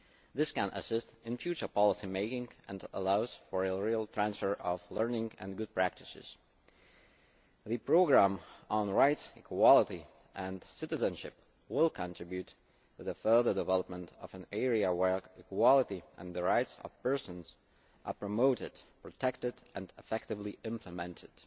This can assist in future policy making and allows for a real transfer of learning and good practices. The programme on rights, equality and citizenship will contribute to the further development of an area where equality and the rights of people are promoted, protected and effectively implemented.